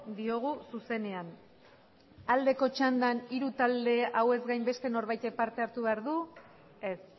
diogu zuzenean aldeko txandan hiru talde hauez gain beste norbaitek parte hartu behar du ez